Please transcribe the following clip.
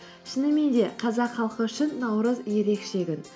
шынымен де қазақ халқы үшін наурыз ерекше күн